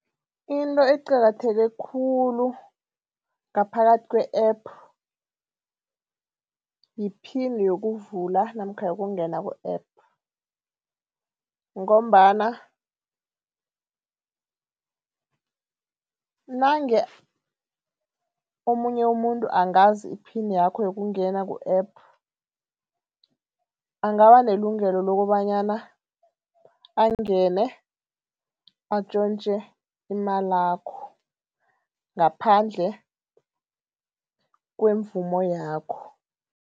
Into eqakatheke khulu ngaphakathi kwe-App yiphini yokuvula namkha yokungena ku-App ngombana nange omunye umuntu angazi iphini yakho yokungena ku-App, angaba nelungelo lokobanyana atjontje imalakho ngaphandle kwemvumo yakho.